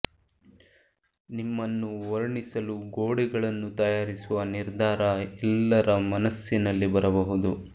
ನಿಮ್ಮನ್ನು ವರ್ಣಿಸಲು ಗೋಡೆಗಳನ್ನು ತಯಾರಿಸುವ ನಿರ್ಧಾರ ಎಲ್ಲರ ಮನಸ್ಸಿನಲ್ಲಿ ಬರಬಹುದು